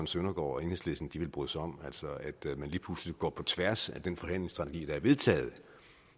søndergaard og enhedslisten vil bryde sig om altså at man lige pludselig går på tværs af den forhandlingsstrategi der er vedtaget